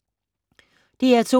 DR2